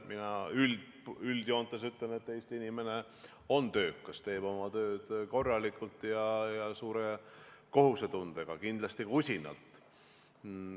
Mina üldjoontes ütlen, et Eesti inimene on töökas, teeb oma tööd korralikult ja suure kohusetundega, kindlasti ka usinalt.